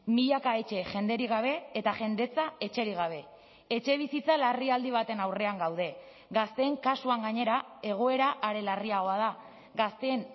milaka etxe jenderik gabe eta jendetza etxerik gabe etxebizitza larrialdi baten aurrean gaude gazteen kasuan gainera egoera are larriagoa da gazteen